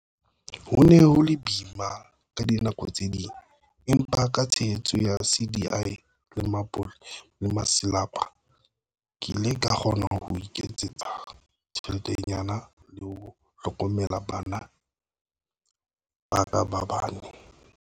"Ho ne ho le boima ka dinako tse ding, empa ka tshehetso ya CDI le masepala, ke ile ka kgona ho iketsetsa tjheletenyana le ho hlokomela bana ba ka ba bane."